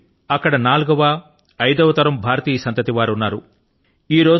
నేడు అక్కడ నాలుగోఐదో తరం భారతీయ సంతతి వారు ఉన్నారు